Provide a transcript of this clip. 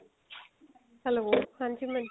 hello ਹਾਂਜੀ ਮਨਜੋਤ